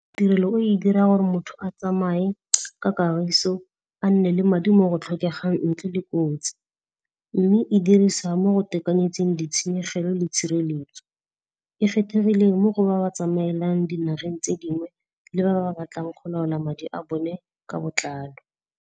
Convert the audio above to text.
Tirelo e o dira gore motho a tsamaye ka kagiso a nne le madi mo go tlhokegang tle le kotsi. Mme e dirisiwa mo tekanyetsong ditshenyegelo le tshireletso. E kgethegile mo go ba ba tsamaelang dinageng tse dingwe, le ba ba batlang go laola madi a bone ka botlalo.